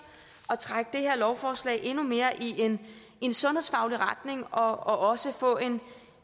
og trække det her lovforslag endnu mere i en sundhedsfaglig retning og også få et